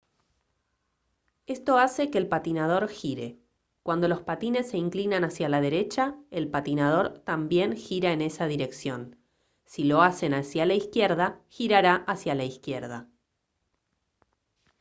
esto hace que el patinador gire cuando los patines se inclinan hacia la derecha el patinador también gira en esa dirección si lo hacen hacia la izquierda girará hacia la izquierda